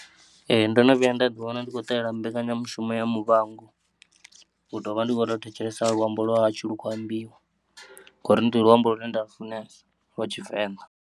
E, ndono vhuya nda ḓiwana ndi khou ṱalela mbekanyamushumo ya muvhango u tovha ndi kho tou thetshelesa luambo lwa hashu lwu tshi khou ambiwa ngori ndi luambo lune nda lu funesa lwa Tshivenḓa.